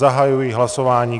Zahajuji hlasování.